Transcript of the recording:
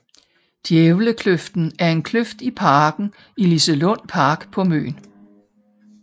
Djævlekløften er en kløft i parken i Liselund Park på Møn